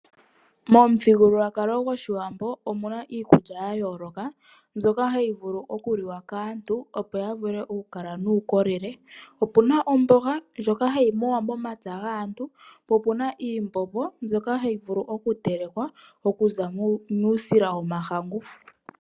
Momuthigululwakalo goshiwambo omuna iikulya ya yooloka mbyoka hayi vulu oku liwa kaantu opo ya vule oku kala nuukolele. Opuna omboga ndjoka hayi muwa momapya gaantu. Opuna iimbombo mbyoka hayi vulu oku telekwa okuza muusila womahangu.